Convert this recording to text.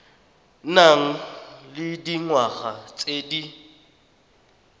nang le dingwaga tse di